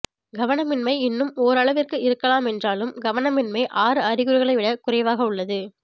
கவனமின்மை இன்னும் ஓரளவிற்கு இருக்கலாம் என்றாலும் கவனமின்மை ஆறு அறிகுறிகளை விட குறைவக உள்ளது